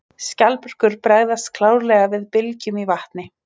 Skjaldbökur bregðast klárlega við bylgjum í vatni.